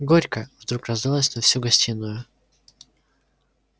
горько вдруг раздалось на всю гостиную